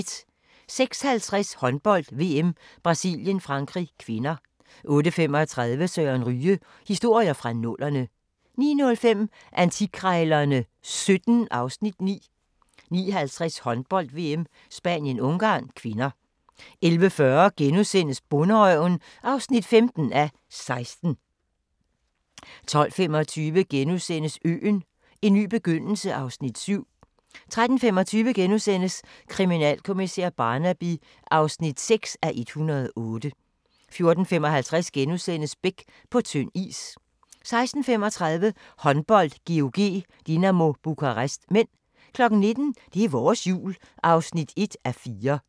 06:50: Håndbold: VM - Brasilien-Frankrig (k) 08:35: Søren Ryge: Historier fra nullerne 09:05: Antikkrejlerne XVII (Afs. 9) 09:50: Håndbold: VM - Spanien-Ungarn (k) 11:40: Bonderøven (15:16)* 12:25: Øen - en ny begyndelse (Afs. 7)* 13:25: Kriminalkommissær Barnaby (6:108)* 14:55: Beck – På tynd is * 16:35: Håndbold: GOG-Dinamo Bukarest (m) 19:00: Det er vores Jul (1:4)